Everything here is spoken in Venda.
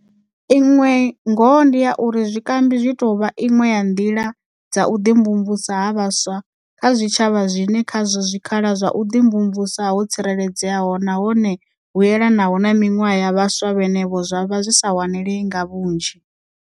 Iṅwe ngoho ndi ya uri zwikambi zwi tou vha iṅwe ya nḓila dza u ḓimvumvusa ha vhaswa kha zwitshavha zwine khazwo zwikhala zwa vhuḓimvumvusi ho tsireledzeaho nahone vhu elanaho na miṅwaha ya vhaswa vhenevho zwa sa wanale nga vhunzhi.